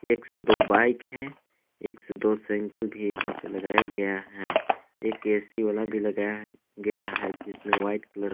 एक से दो बाइक है एक से दो साइंकल भी यहां पे लगाया गया है एक ए_सी वाला भी लगाया गया है जिसमें व्हाइट कलर ।